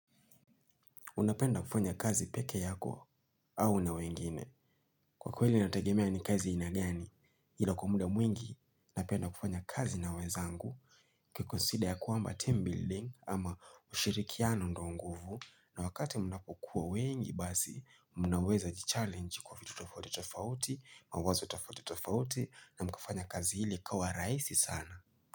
Unapenda kufanya kazi peke yako au na wengine. Kwa kweli inategemea ni kazi aina gani, ila kwa muda mwingi napenda kufanya kazi na wenzangu. Ukikonsida ya kwamba team building ama ushirikiano ndio nguvu na wakati mnapokuwa wengi basi mnaweza jichallenge kwa vitu tofauti tofauti, mawazo tofauti tofauti na mkafanya kazi ile ikawa rahisi sana.